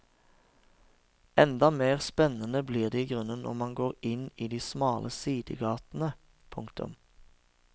Enda mer spennende blir det i grunnen når man går inn i de smale sidegatene. punktum